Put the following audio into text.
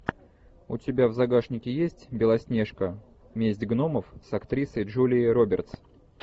у тебя в загашнике есть белоснежка месть гномов с актрисой джулией робертс